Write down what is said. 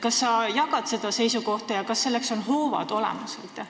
Kas sa jagad seda seisukohta ja kas selleks on hoovad olemas?